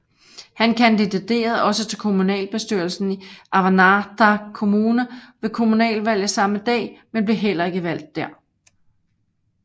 Han kandiderede også til kommunalbestyrelsen i Avannaata Kommune ved kommunalvalget samme dag men blev heller ikke valgt der